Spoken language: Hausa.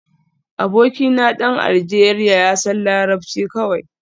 Abokina dan Aljeriya ya san larabci kawai